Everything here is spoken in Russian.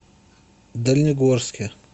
дальнегорске